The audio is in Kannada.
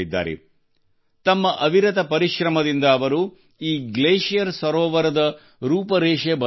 ತಮ್ಮ ಅವಿರತ ಪರಿಶ್ರಮದಿಂದ ಅವರು ಈ ಗ್ಲೇಷಿಯರ್ ಸರೋವರದ ರೂಪರೇಷೆ ಬದಲಾಯಿಸಿದ್ದಾರೆ